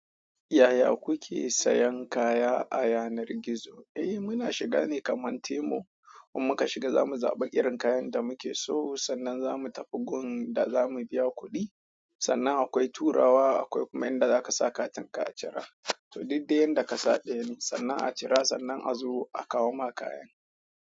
Yaya kuke sayan kaya a yanar gizo? Eh muna shiga ne kaman temo, in mun muka shiga zamu zaɓi irin kayan da muke so, sannan zamu tafi gun da zamu biya kuɗi, sannan akwai turawa, akwai kuma inda zaka sa katin ka a cira. Duk de yanda ka sa ɗayan, sannan a cira sannan a zo a kawo maka kayan.